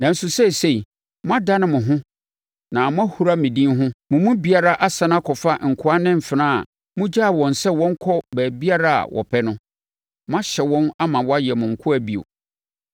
Nanso seesei, moadane mo ho na moahura me din ho; mo mu biara asane akɔfa nkoa ne mfenaa a mogyaa wɔn sɛ wɔnkɔ baabiara a wɔpɛ no. Moahyɛ wɔn ama wɔayɛ mo nkoa bio.